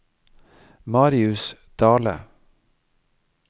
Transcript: Marius Dahle